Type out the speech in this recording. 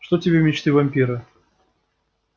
что тебе мечты вампира